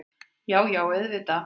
Já, já auðvitað.